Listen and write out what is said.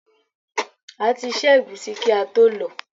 A ti ṣẹ́ ẹ̀gúsí kí ató lọ̀ọ́.